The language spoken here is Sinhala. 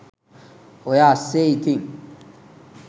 ඔය අස්සේ ඉතින්